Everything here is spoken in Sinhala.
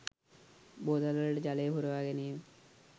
බෝතල් වලට ජලය පුරවා ගැනීම